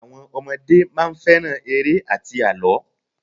Àwọn ọmọdé máa ń fẹ́ràn eré àti àlọ́.